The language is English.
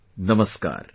Namaskar